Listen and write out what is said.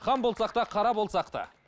хан болсақ та қара болсақ та